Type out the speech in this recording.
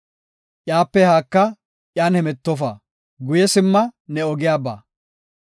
Iyape haaka; iyan hemetofa; guye simma; ne ogiyan ba.